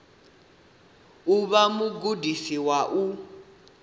u vha mugudisi wa u